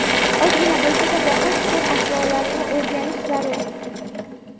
Ozgina bo‘lsa-da, boqish sir-asrorlarini o‘rganishi zarur.